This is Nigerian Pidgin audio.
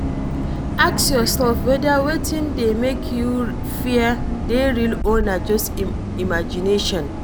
Ask yourself weda wetin dey make you fear dey real or na just imagination